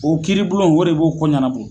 O kiiribulon o de b'o ko ɲanabɔ